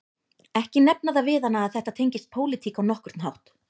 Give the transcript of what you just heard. Ekki nefna það við hana að þetta tengist pólitík á nokkurn hátt